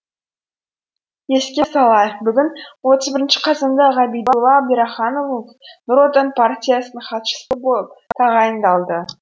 еске салайық бүгін отыз бірінші қазанда ғабидулла әбдірахымов нұр отан партиясының хатшысы болып тағайындалды